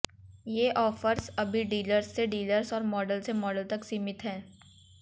ये ऑफर्स अभी डीलर्स से डीलर्स और मॉडल से मॉडल तक सीमित हैं